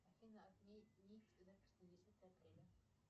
афина отменить запись на десятое апреля